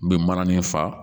U bɛ mana nin fa